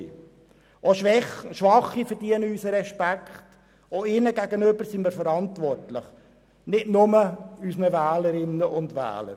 Auch schwache Personen verdienen unseren Respekt, wir sind auch ihnen gegenüber verantwortlich, nicht nur unseren Wählerinnen und Wählern.